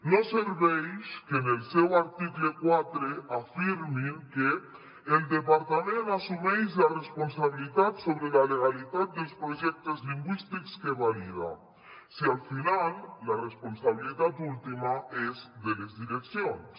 no serveix que en el seu article quatre afirmin que el departament assumeix la responsabilitat sobre la legalitat dels projectes lingüístics que valida si al final la responsabilitat última és de les direccions